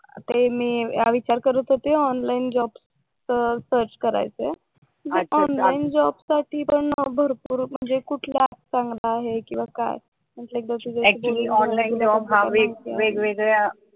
तरी मी हा विचार करत होते ऑनलाईन जॉब सर्च करायचंय ऑनलाईन जॉब साठी पण भरपूर म्हणजे कुठल्या आहे किंवा काय?